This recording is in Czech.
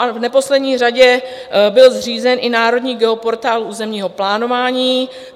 A v neposlední řadě byl zřízen i Národní geoportál územního plánování.